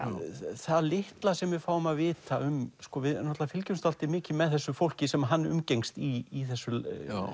það litla sem við fáum að vita um við fylgjumst dálítið mikið með þessu fólki sem hann umgengst í þessu